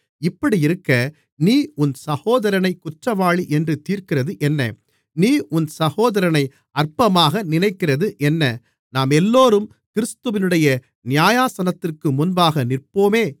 இப்படியிருக்க நீ உன் சகோதரனைக் குற்றவாளி என்று தீர்க்கிறது என்ன நீ உன் சகோதரனை அற்பமாக நினைக்கிறது என்ன நாமெல்லோரும் கிறிஸ்துவினுடைய நியாயாசனத்திற்கு முன்பாக நிற்போமே